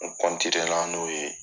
n'o ye.